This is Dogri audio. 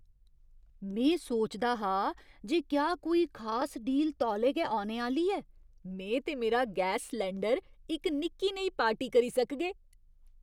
में सोचदा हा जे क्या कोई खास डील तौले गै औने आह्‌ली ऐ। में ते मेरा गैस सलैंडर इक निक्की नेही पार्टी करी सकगे!